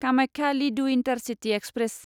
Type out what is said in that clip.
कामाख्या लिडु intercity express